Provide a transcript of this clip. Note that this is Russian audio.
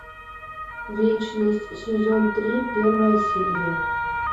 вечность сезон три первая серия